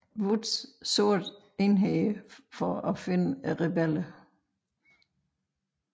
Woods sorte enheder for at finde rebellerne